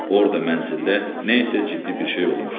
Orda mənzildə nə isə ciddi bir şey olmuşdu.